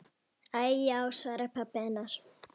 Æi já, svaraði pabbi hennar.